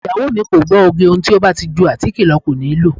Ìyàwó mi kò gbọ́ oge, ohun tí ó bá ti ju àtíkè lọ kò níi lòó.